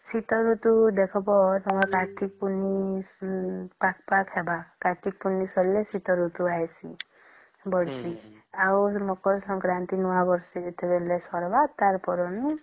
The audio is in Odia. ଶୀତ ଋତୁ ଦେଖିବା ତମର କାର୍ତିକ ପୁନେଇ ପାଖ ପାଖ ଥିବା କାର୍ତିକ ପୁନେଇ ସାରିଲେ ଶୀତ ଋତୁ ଆଇସି ବୋଲସି ଆଉ ମକର ସଂକ୍ରାନ୍ତି ,ନୂଆ ବର୍ଷ ଯେତେ ଝଲଦୀ ସାରିବା ତାର ପରେ ନୁ